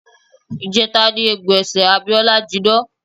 Ìjẹta ni egbò ẹsẹ̀ Abíọ́lá jinná.